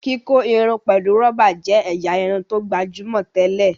kíkọ Irun pẹlú roba jé ẹ̀yà Irun tó gbajúmọ̀ tẹlẹ.